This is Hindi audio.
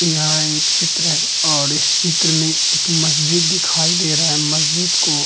यह एक चित्र है और इस चित्र में एक मस्जिद दिखाई दे रहा है। मस्जिद को --